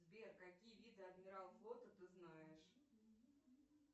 сбер какие виды адмирал флота ты знаешь